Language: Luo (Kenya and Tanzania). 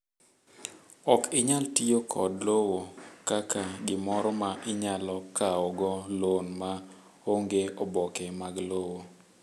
Ok inyal tiyo kod lowo kaka gimoro ma inyalo kawo go loan ma onge oboke mag lowo.